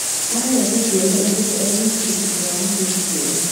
Arerete ciana ingĩrĩ e wiki thutha wa mũthuri kũra.